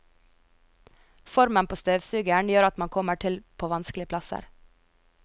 Formen på støvsugeren gjør at man kommer til på vanskelige plasser.